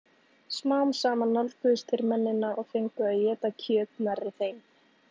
Smám saman nálguðust þeir mennina og fengu að éta kjöt nærri þeim.